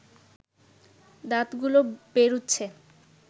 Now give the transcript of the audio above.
দাঁতগুলো বেরুচ্ছে